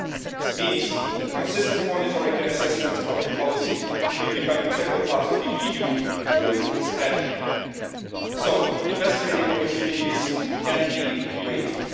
This means that consistent monitoring and assessment of the policy should become an integral part of the EU trade strategy so that the best trading opportunities can be created.